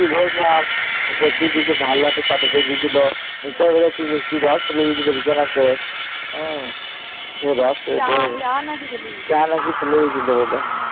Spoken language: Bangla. বসলাম। বসে দিয়েছিল। মিঠাই বোধহয় একটু মিষ্টির রস ফেলে দিয়েছিল বিছানাতে।